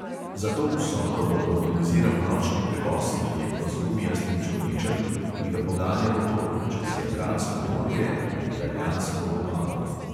Za to vsoto bo organiziral nočni prevoz, verjetno z gumijastim čolničem, ki ga poganja motor, čez jadransko morje na italijansko obalo.